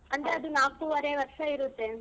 ಅಂದ್ರೆ ಅದು ನಾಕುವರೆ ವರ್ಷ ಇರುತ್ತೆ.